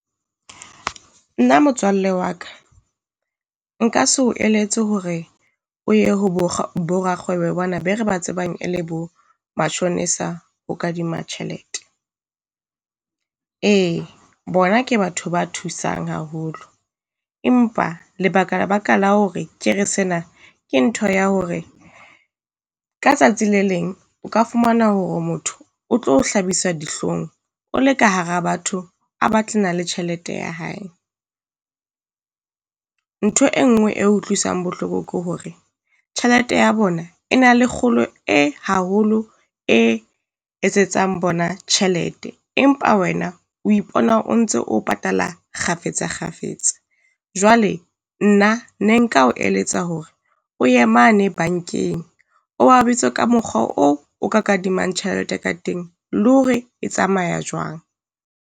Nna motswalle wa ka nka se o eletse hore o ye ho bo bo rakgwebo bana be re ba tsebang e le bo mashonisa ho kadima tjhelete. Ee bona ke batho ba thusang haholo, empa lebaka baka la hore ke re sena ke ntho ya hore ka tsatsi le leng o ka fumana hore motho o tlo o hlabisa dihlong o le ka hara batho a batlana le tjhelete ya hae. Ntho e nngwe e utlwisang bohloko ke hore tjhelete ya bona e na le kgolo e haholo e etsetsang bona tjhelete, empa wena o ipona o ntse o patala kgafetsa kgafetsa. Jwale nna ne nka o eletsa hore o ye mane bankeng, o ba bitse ka mokgwa oo o ka kadimang tjhelete ka teng, le hore e tsamaya jwang.